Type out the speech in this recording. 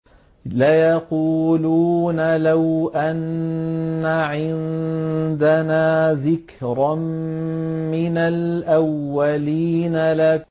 لَوْ أَنَّ عِندَنَا ذِكْرًا مِّنَ الْأَوَّلِينَ